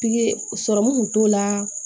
Pikiri sɔrɔmu kun t'o la